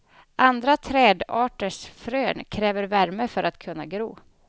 Andra trädarters frön kräver värme för att kunna gro.